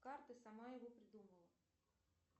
карты сама его придумала